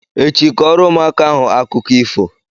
Echi, kọọrọ ụmụaka ahụ akụkọ ifo!